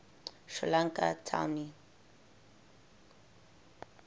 sri lankan tamil